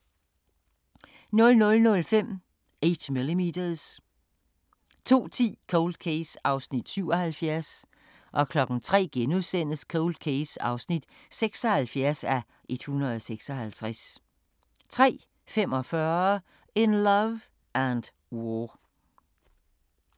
00:05: 8mm 02:10: Cold Case (77:156) 03:00: Cold Case (76:156)* 03:45: In Love and War